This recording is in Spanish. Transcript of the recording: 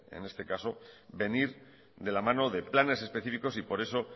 en este caso venir de la mano de planes específicos y por eso